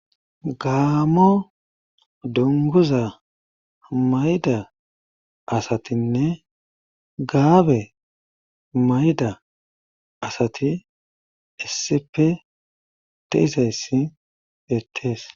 gaamo donguza mayida asatinne gaabe mayida asati isseppe de'izayissibeettes